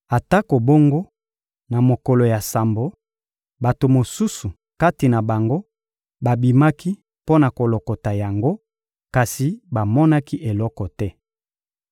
Atako bongo, na mokolo ya sambo, bato mosusu kati na bango babimaki mpo na kolokota yango, kasi bamonaki eloko te.